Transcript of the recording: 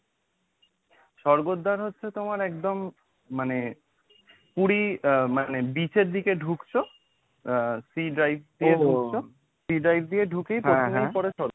স্বর্গদ্বার হচ্ছে তোমার একদম মানে পুরী আ মানে beach এর দিকে ঢুকছো আ sea drive দিয়ে ঢুকছো sea drive দিয়ে ঢুকেই প্রথমেই পরে স্বর্গদ্বার।